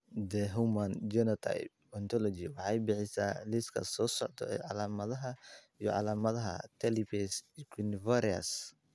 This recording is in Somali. The Human Phenotype Ontology waxay bixisaa liiska soo socda ee calaamadaha iyo calaamadaha Talipes equinovarus.